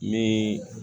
Ni